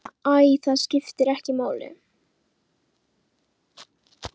Ég meina. æ, það skiptir ekki máli